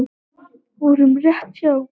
Voru rétt hjá